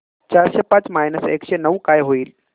चारशे पाच मायनस एकशे नऊ काय होईल